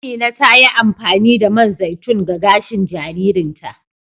Amina ta yi amfani da man zaitun ga gashin jaririn ta.